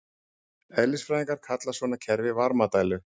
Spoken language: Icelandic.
Eðlisfræðingar kalla svona kerfi varmadælu.